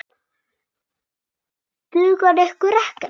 Dugar ykkur ekkert?